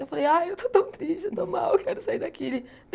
Eu falei, ai, eu estou tão triste, eu estou mal, eu quero sair daqui.